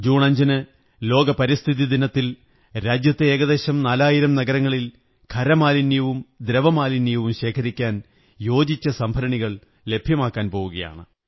June 5 ന് ലോക പരിസ്ഥിതി ദിനത്തിൽ രാജ്യത്തെ ഏകദേശം നാലായിരം നഗരങ്ങളിൽ ഖരമാലിന്യവും ദ്രവമാലിന്യവും ശേഖരിക്കാൻ യോജിച്ച സംഭരണികൾ ലഭ്യമാക്കാൻ പോകയാണ്